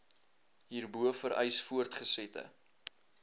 hierbo vereis voortgesette